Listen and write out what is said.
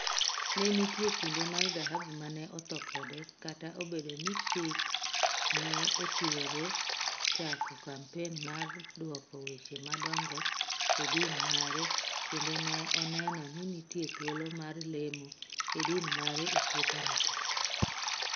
Ne nitie kinde mar dhahabu mane otho kode kata obedo ni Sihk ne ochiwore chako kampen mar duoko weche madongo e din mare kendo ne oneno ni nitie thuolo mar lemo e din mare e puothene tee.